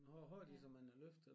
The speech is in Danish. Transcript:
Nå har de så mange løft altså?